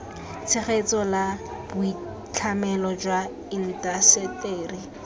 tshegetso la boitlhamelo jwa indaseteri